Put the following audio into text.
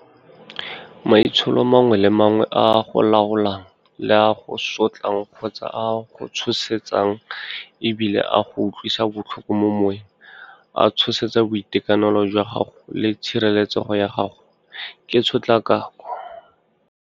Maitsholo a mangwe le mangwe a a go laolang le a a go sotlang kgotsa a a go tshosetsang e bile a a go utlwisang botlhoko mo moweng, a tshosetsa boitekanelo jwa gago le tshireletsego ya gago ke tshotlakako.